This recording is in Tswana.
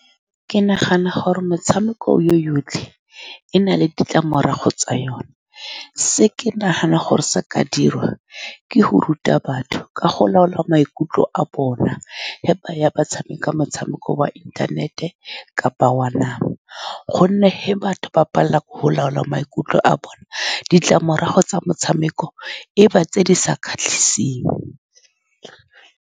Ke nagana gore metshameko yotlhe e na le ditlamorago tsa yone. Se ke naganang gore sa ka dirwa ke go ruta batho ka go laola maikutlo a bona fa ba ya ba tshameka motshamekong wa inthanete kapa wa nama, ka gonne fa batho ba palelwa ke go laola maikutlo a bona, ditlamorago tsa motshameko e ba tse di sa kgatlhiseng.